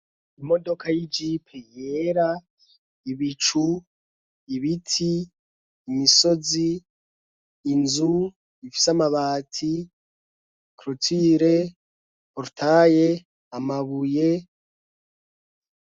Imodoka y'ijipi yera ibicu ibiti imisozi inzu ifise amabati krutire portaye amabuye.